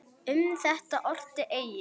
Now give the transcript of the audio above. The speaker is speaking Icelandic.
Um þetta orti Egill